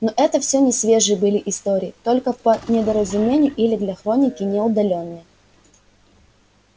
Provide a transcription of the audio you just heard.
но это всё несвежие были истории только по недоразумению или для хроники не удалённые